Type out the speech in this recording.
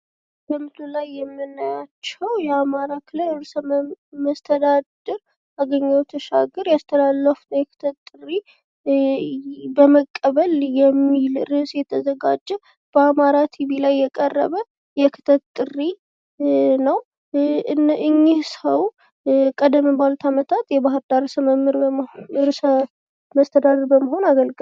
በምስሉ ላይ የምናያቸው የአማራ ክልል ርዕሰ መስተዳድር አገኘሁ ተሻገረ ያስተላለፋት የክተት ጥሪ መቀበል በሚል ርዕሰ የተዘጋጀ በአማራ ቲቪ ላይ የቀረበ የክተት ጥሪ ነው። እኚ ሰው ቀደመ ባሉት አመታት የባህርዳር ርዕሰ መስተደድር በመሆን አገልግለዋል።